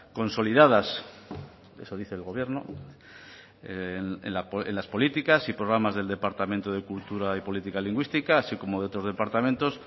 consolidadas eso dice el gobierno en las políticas y programas del departamento de cultura y política lingüística así como de otros departamentos